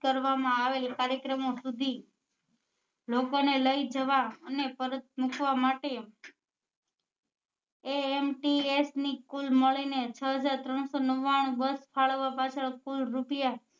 કરવા માં આવેલ કાર્યક્રમો સુધી લોકો ને લઇ જવા અને પરત મુકવા માટે ants ની કુલ મળી ને છ હજાર ત્રણસો નવ્વાણું બસ ફાળવવા પાછળ કુલ રૂપિયા